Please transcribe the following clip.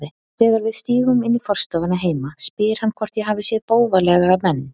Þegar við stígum inn í forstofuna heima spyr hann hvort ég hafi séð bófalega menn.